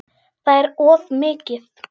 Það er of mikið.